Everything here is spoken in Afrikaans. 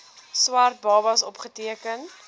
swart babas opgeteken